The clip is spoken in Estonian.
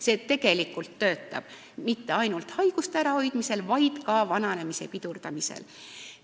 See tegelikult töötab mitte ainult haiguste ärahoidmisel, vaid ka vananemise pidurdamisel.